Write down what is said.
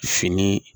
Fini